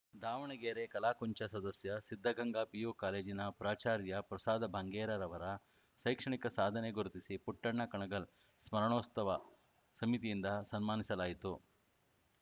ದಾವಣಗೆರೆ ಕಲಾಕುಂಚ ಸದಸ್ಯ ಸಿದ್ದಗಂಗಾ ಪಿಯು ಕಾಲೇಜಿನ ಪ್ರಾಚಾರ್ಯ ಪ್ರಸಾದ ಬಂಗೇರಾರವರ ಶೈಕ್ಷಣಿಕ ಸಾಧನೆ ಗುರುತಿಸಿ ಪುಟ್ಟಣ್ಣ ಕಣಗಾಲ್‌ ಸ್ಮರಣೋಸ್ತವ ಸಮಿತಿಯಿಂದ ಸನ್ಮಾನಿಸಲಾಯಿತು